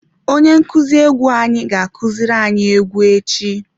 Onye nkuzi egwú anyi ga kuziri anyi egwú echi.